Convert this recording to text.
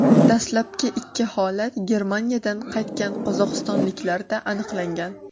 Dastlabki ikki holat Germaniyadan qaytgan qozog‘istonliklarda aniqlangan .